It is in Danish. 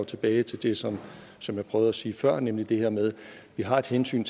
tilbage til det som som jeg prøvede at sige før nemlig det her med at vi har et hensyn